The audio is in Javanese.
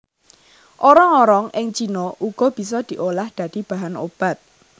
Orong orong ing cina uga bisa diolah dadi bahan obat